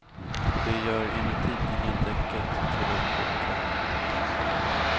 Det gör enligt tidningen däcket till en fullträff.